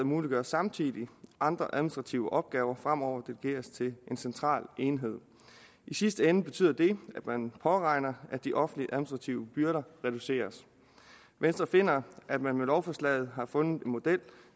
muliggør samtidig at andre administrative opgaver fremover delegeres til en central enhed i sidste ende betyder det at man påregner at de offentlige administrative byrder reduceres venstre finder at man med lovforslaget har fundet en model